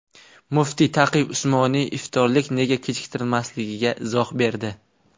Muftiy Taqiy Usmoniy iftorlik nega kechiktirilmasligiga izoh berdi .